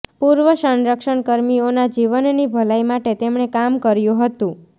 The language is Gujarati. પૂર્વ સંરક્ષણ કર્મીઓના જીવનની ભલાઈ માટે તેમણે કામ કર્યુ હતું